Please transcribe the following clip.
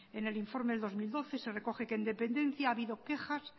en el informe del dos mil doce se recoge que en dependencia ha habido quejas